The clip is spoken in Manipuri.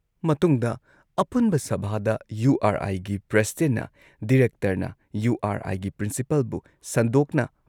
ꯃꯇꯨꯡꯗ ꯑꯄꯨꯟꯕ ꯁꯚꯥꯗ ꯌꯨ ꯑꯥꯔ ꯑꯥꯏꯒꯤ ꯄ꯭ꯔꯁꯤꯗꯦꯟꯠꯅ ꯗꯤꯔꯦꯛꯇꯔꯅ ꯌꯨ ꯑꯥꯔ ꯑꯥꯏꯒꯤ ꯄ꯭ꯔꯤꯟꯁꯤꯄꯜꯕꯨ ꯁꯟꯗꯣꯛꯅ